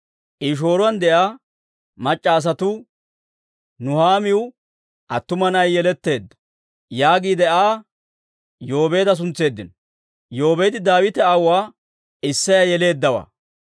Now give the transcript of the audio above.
I shooruwaan de'iyaa mac'c'a asatuu, «Nuhaamiw attuma na'ay yeletteedda» yaagiide Aa Yoobeeda suntseeddino. Yoobeedi Daawite aawuwaa Isseyaa yeleeddawaa.